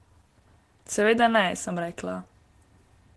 Seveda ne, sem rekla.